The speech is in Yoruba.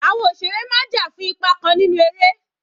Àwọn òṣèré máa ń jà fún ipa kan nínú eré.